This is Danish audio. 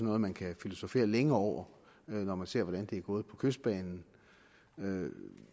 noget man kan filosofere længe over når man ser hvordan det er gået på kystbanen